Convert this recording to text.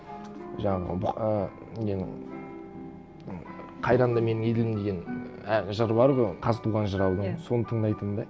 жаңағы і ненің м қайранды менің елім деген ііі жыры бар ғой оның қазтуған жыраудың иә соны тыңдайтынмын да